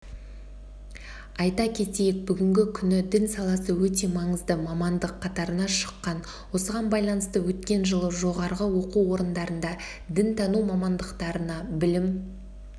айта кетейік бүгінгі күні дін саласы өте маңызды мамандық қатарына шыққан осыған байланысты өткен жылы жоғары оқу орындарында дінтану мамандықтарына білім